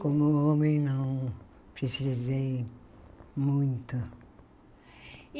Como homem não precisei muito.